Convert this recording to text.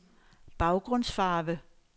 baggrundsfarve